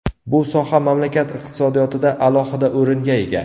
Bu soha mamlakat iqtisodiyotida alohida o‘ringa ega.